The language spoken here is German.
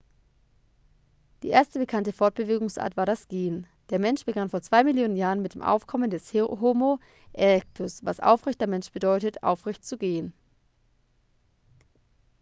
die erste bekannte fortbewegungsart war das gehen. der mensch begann vor zwei millionen jahren mit dem aufkommen des homo erectus was aufrechter mensch bedeutet aufrecht zu gehen